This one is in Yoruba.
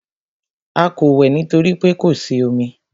A kò wẹ̀ nítorí pé kò sí omi.